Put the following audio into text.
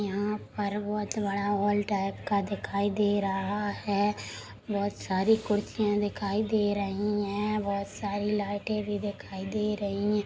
यहाँ पर बहुत बड़ा हाल टाइप का दिखाई दे रहा हैंबहुत सारी कुर्सियाँ दिखाई दे रही हैं बहुत सारी लाइटे भी दिखाई दे रहाँ हैं।